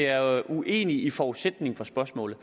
er uenig i forudsætningen for spørgsmålet